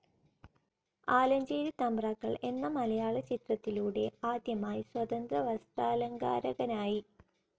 ആലഞ്ചേരി തമ്പ്രാക്കൾ എന്ന മലയാളചിത്രത്തിലൂടെ ആദ്യമായി സ്വതന്ത്ര വസ്ത്രാലങ്കാരകനായി.